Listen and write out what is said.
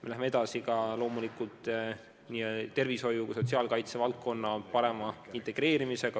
Me läheme edasi loomulikult nii tervishoiu kui ka sotsiaalkaitse valdkonna parema integreerimisega.